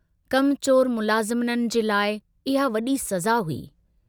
कमचोर मुलाज़िमन जे लाइ इहा वड़ी सज़ा हुई।